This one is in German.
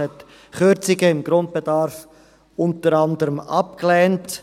– Es lehnte unter anderem Kürzungen im Grundbedarf ab.